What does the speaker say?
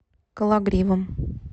кологривом